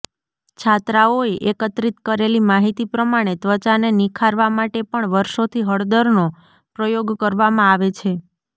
છાત્રાઓએ એકત્રિત કરેલી માહિતી પ્રમાણે ત્વચાને નિખારવા માટે પણ વર્ષોથી હળદરનો પ્રયોગ કરવામાં આવે છે